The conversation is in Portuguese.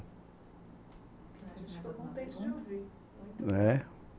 A gente ficou contente de ouvir. É